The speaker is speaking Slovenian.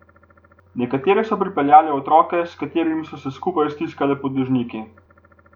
Nekatere so pripeljale otroke, s katerimi so se skupaj stiskale pod dežniki.